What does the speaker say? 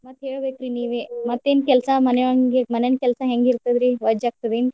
ಮತ್ತ್ ಹೇಳ್ಬೇಕ್ರಿ ನೀವೇ. ಮತ್ತೇನ್ ಕೆಲ್ಸಾ ಮಾನ್ಯ~ ಮಾನ್ಯಂದ ಕೆಲ್ಸಾ ಹೆಂಗ್ ಇರ್ತದ್ರಿ ವಜ್ಜಗ್ತದೇನ?